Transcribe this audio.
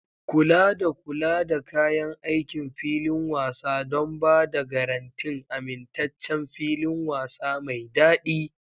Kula da kula da kayan aikin filin wasa don ba da garantin amintaccen filin wasa mai daɗi.